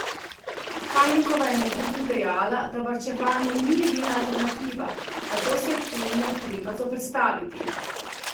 Pajnikova je med drugim dejala, da varčevanje ni edina alternativa, zato se je temu treba zoperstaviti.